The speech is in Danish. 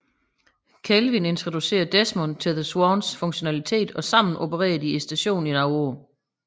Kelvin introducerer Desmond til The Swans funktionalitet og sammen opererer de stationen i nogle år